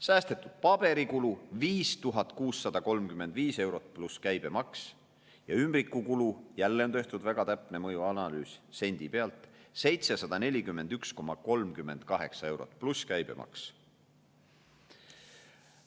Säästetud paberikulu on 5635 eurot pluss käibemaks ja ümbrikukulu – jälle on tehtud väga täpne mõjuanalüüs, sendi pealt – 741,38 eurot pluss käibemaks.